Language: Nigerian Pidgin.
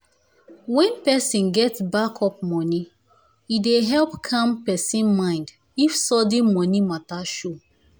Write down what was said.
when person get backup money e dey help calm person mind if sudden money matter show.